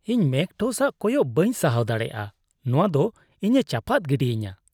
ᱤᱧ ᱢᱮᱜᱽᱴᱚᱥ ᱟᱜ ᱠᱚᱭᱚᱜ ᱵᱟᱹᱧ ᱥᱟᱦᱟᱣ ᱫᱟᱲᱮᱭᱟᱜᱼᱟ; ᱱᱚᱣᱟ ᱫᱚ ᱤᱧᱮ ᱪᱟᱯᱟᱫ ᱜᱤᱰᱤᱧᱟ ᱾